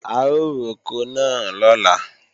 A ó roko náà lọ́la